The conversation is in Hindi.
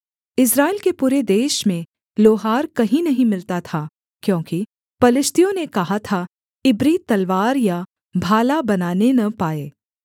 इस्राएल के पूरे देश में लोहार कहीं नहीं मिलता था क्योंकि पलिश्तियों ने कहा था इब्री तलवार या भाला बनाने न पाएँ